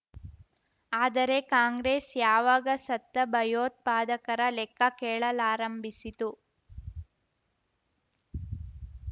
ಆದರೆ ಕಾಂಗ್ರೆಸ್ ಯಾವಾಗ ಸತ್ತ ಭಯೋತ್ಪಾದಕರ ಲೆಕ್ಕ ಕೇಳಲಾರಂಭಿಸಿತು